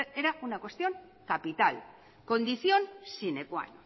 era una cuestión capital condición sine qua non